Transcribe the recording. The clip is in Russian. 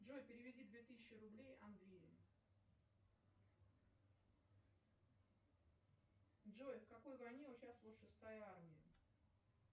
джой переведи две тысячи рублей андрею джой в какой войне участвовала шестая армия